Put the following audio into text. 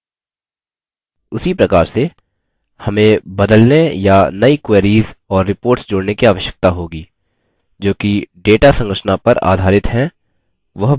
उसी प्रकार से हमें बदलने या नई queries और reports जोड़ने की आवश्यकता होगी जोकि data संरचना पर आधारित हैं वह बदले जा चुके हैं